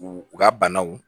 U u ka banaw